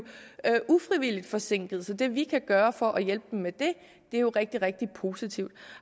ufrivilligt forsinket så det vi kan gøre for at hjælpe dem med det er jo rigtig rigtig positivt